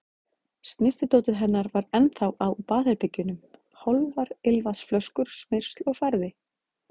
Snyrtidótið hennar var ennþá á baðherbergjunum, hálfar ilmvatnsflöskur, smyrsl og farði.